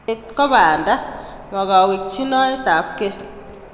Sopet ko panda, ma kawekchinoetap kei